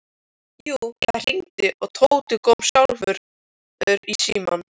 Jú, það hringdi og Tóti kom sjálfur í símann.